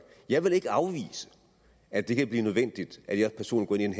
jeg vil ikke afvise at det kan blive nødvendigt at jeg personligt